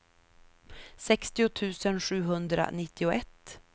sextio tusen sjuhundranittioett